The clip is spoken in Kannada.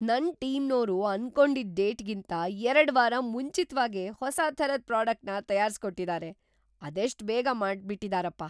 ನನ್‌ ಟೀಮ್ನೋರು ಅನ್ಕೊಂಡಿದ್ ಡೇಟ್‌ಗಿಂತ ಎರಡು ವಾರ ಮುಂಚಿತ್ವಾಗೇ ಹೊಸಾ ಥರದ್ ಪ್ರಾಡಕ್ಟ್‌ನ ತಯಾರ್ಸ್‌ಕೊಟ್ಟಿದಾರೆ! ಅದೆಷ್ಟ್‌ ಬೇಗ ಮಾಡ್ಬಿಟಿದಾರಪ್ಪ!